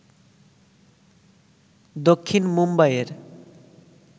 দক্ষিণ মুম্বাইয়ের